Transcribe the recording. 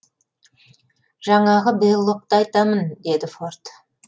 жаңағы беллокты айтамын деді форд